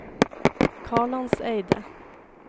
Kalandseidet